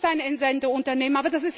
Was ist ein Entsendeunternehmen?